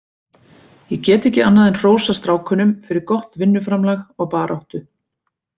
Ég get ekki annað en hrósað strákunum fyrir gott vinnuframlag og baráttu.